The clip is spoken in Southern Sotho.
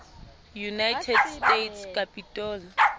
united states capitol